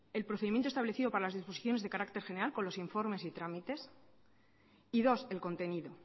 el procedimiento establecido para las disposiciones de carácter general con los informes y trámites y dos el contenido